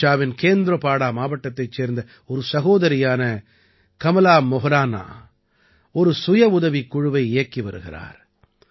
ஒடிஷாவின் கேந்திரபாடா மாவட்டத்தைச் சேர்ந்த ஒரு சகோதரியான கமலா மோஹ்ரானா ஒரு சுயவுதவிக் குழுவை இயக்கி வருகிறார்